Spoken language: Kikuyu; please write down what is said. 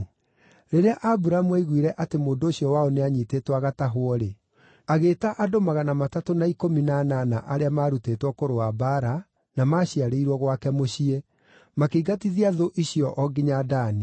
Rĩrĩa Aburamu aiguire atĩ mũndũ ũcio wao nĩanyiitĩtwo agatahwo-rĩ, agĩĩta andũ magana matatũ na ikũmi na anana arĩa maarutĩtwo kũrũa mbaara na maaciarĩirwo gwake mũciĩ, makĩingatithia thũ icio o nginya Dani.